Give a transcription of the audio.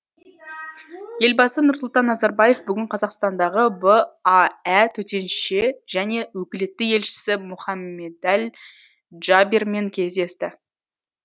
елбасы нұрсұлтан назарбаев бүгін қазақстандағы баә төтенше және өкілетті елшісі мұхаммедәл джабермен кездесті